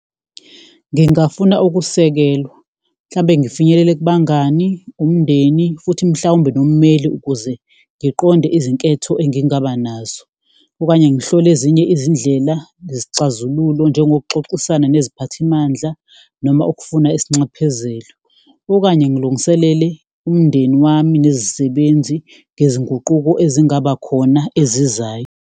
Ngingafuna ukusekelwa mhlambe ngifinyelele kubangani, umndeni futhi mhlawumbe nommeli ukuze ngiqonde izinketho engingaba nazo okanye ngihlole ezinye izindlela nezixazululo, njengokuxoxisana neziphathimandla noma ukufuna isinxaphezelo. Okanye ngilungiselele umndeni wami nezisebenzi ngezinguquko ezingaba khona ezizayo.